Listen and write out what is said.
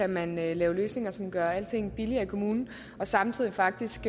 man vælge løsninger som gør alting billigere i kommunen og samtidig faktisk